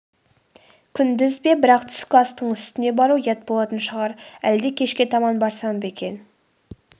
күндіз бе бірақ түскі астың үстіне бару ұят болатын шығар әлде кешке таман барсам ба екен